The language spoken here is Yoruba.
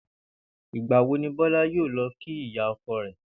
Ìgbà wo ni Bó̩lá yóò lo̩ kí ìyá o̩ko̩ rè̩?